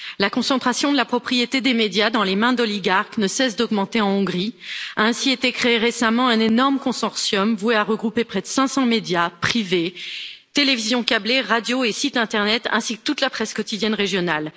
La concentration de la propriété des médias dans les mains d'oligarques ne cesse d'augmenter en Hongrie, a ainsi été créé récemment un énorme consortium voué à regrouper près de 500 médias privés, télévisions câblées, radios et sites internet ainsi que toute la presse quotidienne régionale.